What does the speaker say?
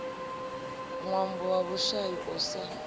ṅwambo wa vhushai u sa